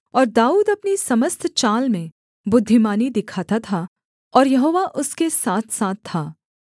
और दाऊद अपनी समस्त चाल में बुद्धिमानी दिखाता था और यहोवा उसके साथसाथ था